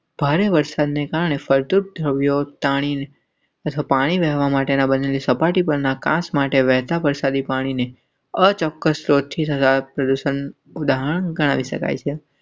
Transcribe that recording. ભારે વરસાદને કારણે ફળદ્રુપ દ્રવ્યો તાણી ઝડપાઈ જવા માટેના બદલેં સપાટી પરના કાંસ વાટે વહેતાં વરસાદી પાણી ને અચોક્કસ ઓછા પ્રદૂષણ ઉદાહરણ ગણાવી શકાય.